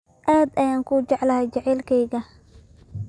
Aad ayaan kuu jeclahay jacaylkayga